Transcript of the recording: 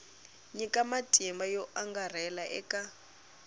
nyika matimba yo angarhela eka